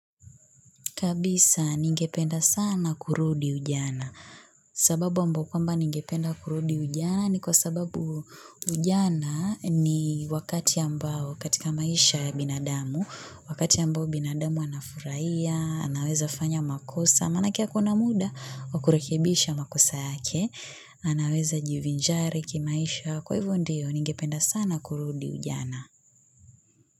Kabisa, ningependa sana kurudi ujana. Sababu ambao kwamba ningependa kurudi ujana ni kwa sababu ujana ni wakati ambao katika maisha ya binadamu. Wakati ambao binadamu anafurahia, anaweza fanya makosa, maana yake ako na muda, wa kurekebisha makosa yake. Anaweza jivinjari kimaisha kwa hivyo ndiyo ningependa sana kurudi ujana.